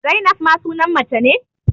Zainab ma sunan mace ne